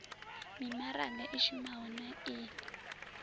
mimaraga i shumaho na i